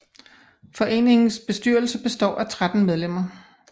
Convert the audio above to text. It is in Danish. Foreningens bestyrelse består af 13 medlemmer